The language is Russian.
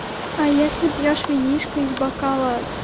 а если пьёшь винишко из бокала